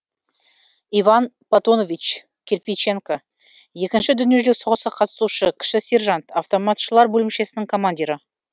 иван платонович кирпиченко екінші дүниежүзілік соғысқа қатысушы кіші сержант автоматшылар бөлімшесінің командирі